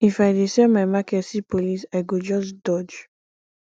if i dey sell my market see police i go just dodge